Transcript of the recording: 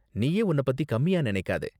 நீயே உன்ன பத்தி கம்மியா நினைக்காத.